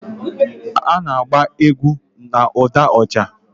Ha na-agba egwu na ụda oja